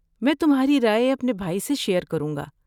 میں تمہاری رائے اپنے بھائی سے شیر کروں گا۔